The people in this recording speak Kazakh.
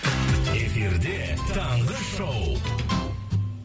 эфирде таңғы шоу